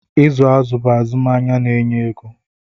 ịzụ azụ̀ bụ azụmahịa na-enye ego